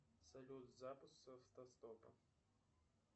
салют запуск с автостопа